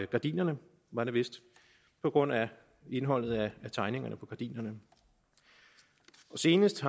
gardiner var det vist på grund af indholdet af tegningerne på gardinerne senest